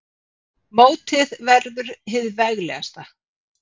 Sagði bréfið einhver önnur tíðindi?